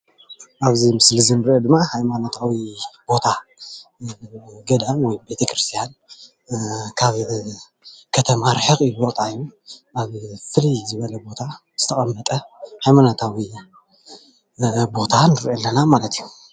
ኣብዚ ምስሊ እዚ እንሪኦ ድማ ሃማኖታዊ ቦታ ገዳም ወይ ድማ ቤተክርስትያን ካብ ከተማ ርሕቅ ኢሉ ብጣሚ ኣብ ፍልይ ዝበለ ቦታ ዝተቀመጠ ሃይማኖታዊ ቦታ ንርኢ ኣለና ማለት እዩ፡፡